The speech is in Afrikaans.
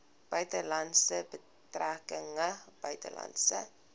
buitelandse betrekkinge buitelandse